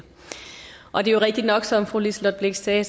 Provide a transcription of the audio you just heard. og det er jo rigtigt nok som fru liselott blixt sagde